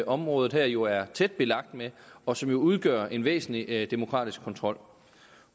området her jo er tæt belagt med og som jo udgør en væsentlig demokratisk kontrol